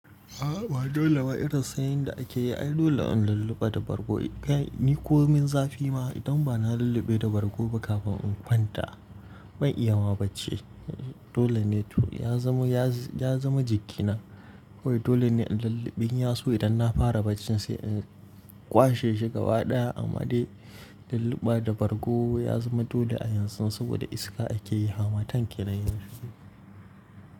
A'a ba dole ba, irin sanyin da ake yi ai dole in lullube da bargo. Kai ni ko min zafi ma idan ba na lulluɓe da bargo ba kafin in kwanta. Ba ya iya ma bacci. Dole ne to ya zama, ya zama jigina. Wai dole ne in lulluɓe, indan ya so idan na fara bacci sai in cire shi gaba ɗaya amma dai lulluɓe da bargo ya zama dole a yanzu saboda iska ake yi, hamatan kenan yanzu.